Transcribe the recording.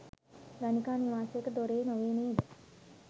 ගණිකා නිවාසයක දොරේ නොවේ නේද?